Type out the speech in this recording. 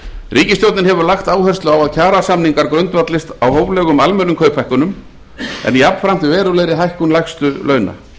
ríkisstjórnin hefur lagt áherslu á að kjarasamningar grundvallist á hóflegum almennum kauphækkunum en jafnframt verulegri hækkun lægstu launa